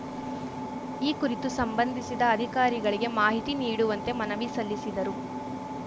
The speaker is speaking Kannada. ಈ ಕುರಿತು ಸಂಬಂಧಿಸಿದ ಅಧಿಕಾರಿಗಳಿಗೆ ಮಾಹಿತಿ ನೀಡುವಂತೆ ಮನವಿ ಸಲ್ಲಿಸಿದರು